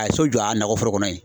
A ye so jɔ a nakɔ foro kɔnɔ yen.